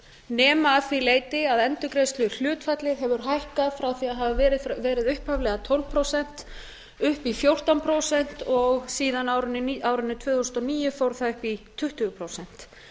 nema að því leyti að endurgreiðsluhlutfallið hefur hækkað frá því að hafa verið upphaflega tólf prósent og upp í fjórtán prósent og síðan á árinu tvö þúsund og níu fór það upp í tuttugu prósent